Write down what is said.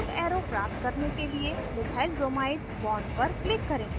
curved arrow प्राप्त करने के लिए methylbromide bond पर click करें